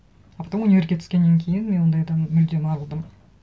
а потом универге түскеннен кейін мен ондайдан мүлдем арылдым